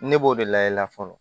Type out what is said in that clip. Ne b'o de layɛla fɔlɔ